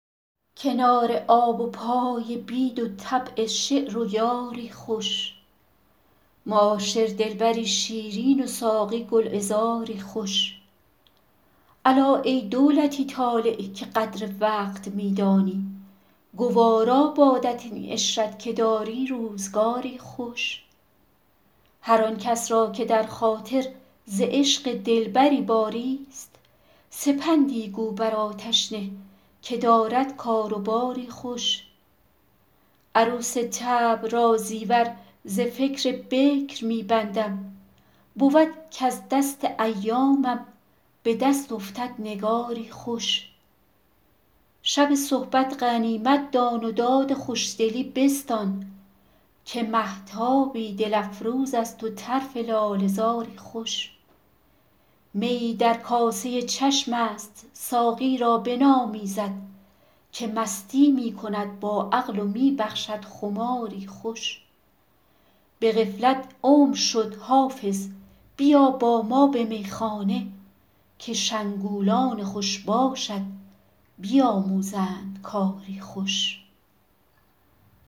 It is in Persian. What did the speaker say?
کنار آب و پای بید و طبع شعر و یاری خوش معاشر دلبری شیرین و ساقی گلعذاری خوش الا ای دولتی طالع که قدر وقت می دانی گوارا بادت این عشرت که داری روزگاری خوش هر آن کس را که در خاطر ز عشق دلبری باریست سپندی گو بر آتش نه که دارد کار و باری خوش عروس طبع را زیور ز فکر بکر می بندم بود کز دست ایامم به دست افتد نگاری خوش شب صحبت غنیمت دان و داد خوشدلی بستان که مهتابی دل افروز است و طرف لاله زاری خوش میی در کاسه چشم است ساقی را بنامیزد که مستی می کند با عقل و می بخشد خماری خوش به غفلت عمر شد حافظ بیا با ما به میخانه که شنگولان خوش باشت بیاموزند کاری خوش